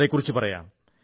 അതെക്കുറിച്ചു പറയാം